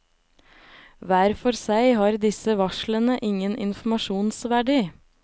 Hver for seg har disse varslene ingen informasjonsverdi.